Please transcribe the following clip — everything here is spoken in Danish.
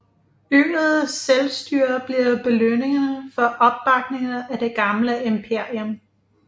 Øget selvstyre blev belønningen for opbakningen af det gamle imperium